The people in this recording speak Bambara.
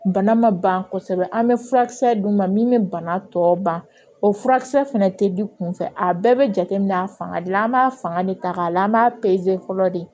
Bana ma ban kosɛbɛ an bɛ furakisɛ d'u ma min bɛ bana tɔ ban o furakisɛ fɛnɛ tɛ di kunfɛ a bɛɛ bɛ jateminɛ a fanga de la an b'a fanga de ta k'a layɛ an b'a fɔlɔ de